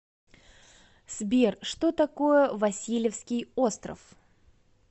сбер что такое васильевский остров